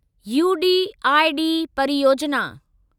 UDID परियोजिना